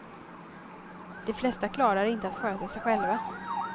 De flesta klarar inte att sköta sig själva.